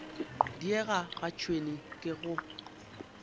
diega ga tšhwene ke go